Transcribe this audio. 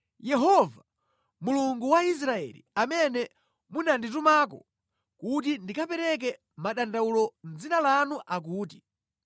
Yehova, Mulungu wa Israeli amene munanditumako kuti ndikapereke madandawulo mʼdzina lanu akuti,